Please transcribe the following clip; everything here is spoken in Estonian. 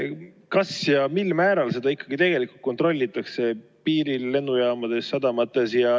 Kas üldse ja mil määral seda ikkagi tegelikult kontrollitakse piiril, lennujaamades, sadamates?